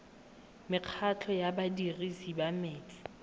mekgatlho ya badirisi ba metsi